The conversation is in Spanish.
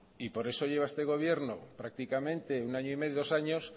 y por eso lleva este gobierno prácticamente un año y medio dos años